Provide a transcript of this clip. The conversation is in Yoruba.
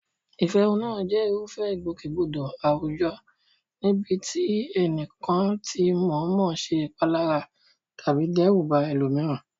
Ìfẹ̀hónúhàn jẹ́ irúfẹ́ ìgbòkègbodò àwùjọ níbi tí ẹnìkan ti mọ̀ọ́mọ̀ ṣe ìpalára tàbí dẹ́rù ba ẹlòmíràn.